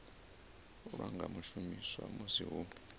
lwa nga shumiswa musi hu